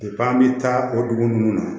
an bɛ taa o dugu ninnu na